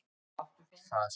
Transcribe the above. Það sé eðlilegt.